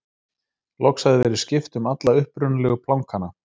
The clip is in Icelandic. loks hafði verið skipt um alla upprunalegu plankana